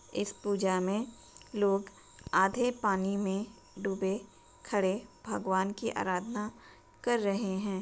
इस पूजा में लोग आधे पानी में दुबे खड़े भगवान की आराधना कर रहे हैं।